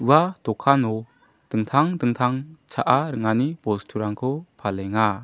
ua dokano dingtang dingtang cha·a ringani bosturangko palenga.